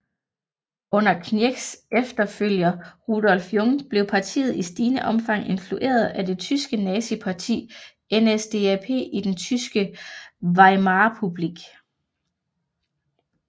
Under Knirschs efterfølger Rudolf Jung blev partiet i stigende omfang influeret af det tyske nazistparti NSDAP i den tyske Weimarrepublik